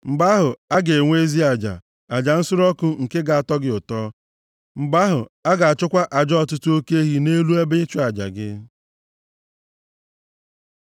Mgbe ahụ, a ga-enwe ezi aja, aja nsure ọkụ nke ga-atọ gị ụtọ; mgbe ahụ, a ga-achụkwa aja ọtụtụ oke ehi nʼelu ebe ịchụ aja gị.